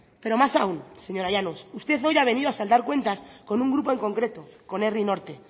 pero más aún señora llanos usted hoy ha venido a saldar cuentas con un grupo en concreto con herri norte